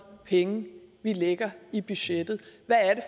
penge vi lægger i budgettet hvad